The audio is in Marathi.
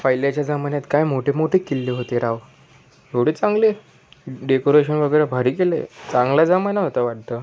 पाहिल्याच्या जमान्यात काय मोठे मोठे किल्ले होते राव एवडे चांगले डेकोरेशन वगैरा भारी केलंय चांगला जमाना होता वाढत.